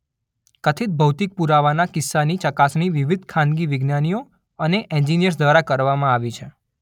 કથિત ભૌતિક પૂરાવાના કિસ્સાની ચકાસણી વિવિધ ખાનગી વિજ્ઞાનીઓ અને એન્જિનિયર્સ દ્વારા કરવામાં આવી છે.